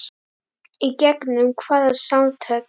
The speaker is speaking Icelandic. Í gegnum hvaða samtök?